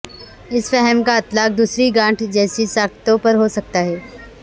اس فہم کا اطلاق دوسری گانٹھ جیسی ساختوں پر ہو سکتا ہے